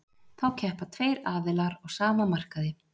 Þá keppa tveir aðilar á sama markaði.